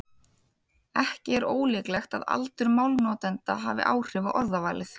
Ekki er ólíklegt að aldur málnotenda hafi áhrif á orðavalið.